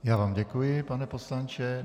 Já vám děkuji, pane poslanče.